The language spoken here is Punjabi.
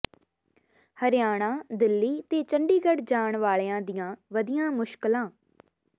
ਹਰਿਆਣਾ ਦਿੱਲੀ ਤੇ ਚੰਡੀਗੜ੍ਹ ਜਾਣ ਵਾਲਿਆਂ ਦੀਆਂ ਵਧੀਆਂ ਮੁਸ਼ਕਲਾਂ